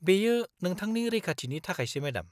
-बेयो नोंथांनि रैखाथिनि थाखायसो, मेडाम।